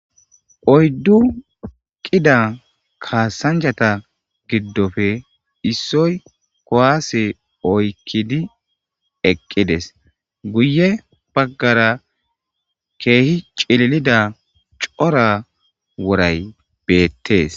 Oyddu qida kasanchata gidope issoy kuwase oykidi eqides guye bagara kehi c'ililida c'ora woray betes.